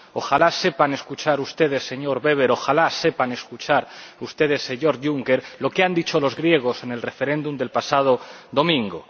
Ojalá sepan escuchar ustedes, señor Weber, ojalá sepan escuchar ustedes, señor Juncker, lo que han dicho los griegos en el referéndum del pasado domingo.